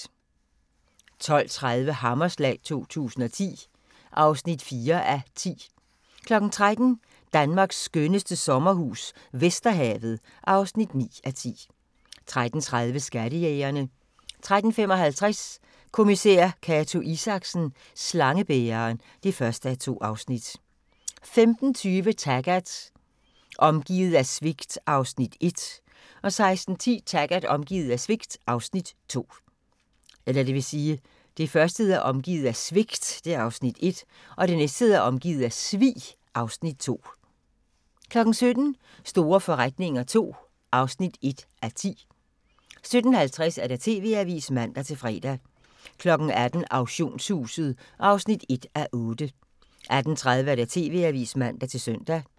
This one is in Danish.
12:30: Hammerslag 2010 (4:10) 13:00: Danmarks skønneste sommerhus - Vesterhavet (9:10) 13:30: Skattejægerne 13:55: Kommissær Cato Isaksen: Slangebæreren (1:2) 15:20: Taggart: Omgivet af svigt (Afs. 1) 16:10: Taggart: Omgivet af svig (Afs. 2) 17:00: Store forretninger II (1:10) 17:50: TV-avisen (man-fre) 18:00: Auktionshuset (1:8) 18:30: TV-avisen (man-søn)